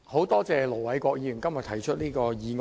多謝盧偉國議員今天提出這項議案。